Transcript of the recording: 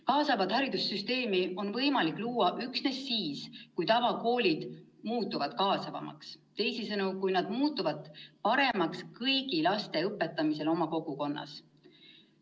Kaasavat haridussüsteemi on võimalik luua üksnes siis, kui tavakoolid muutuvad kaasavamaks, teisisõnu, kui nad muutuvad paremaks kõigi laste õpetamisel oma kogukonnas.